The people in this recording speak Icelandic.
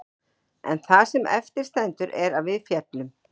En það sem eftir stendur er að við féllum.